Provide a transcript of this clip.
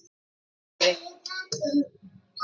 sagði Smári.